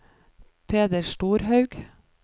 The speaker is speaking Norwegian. Peder Storhaug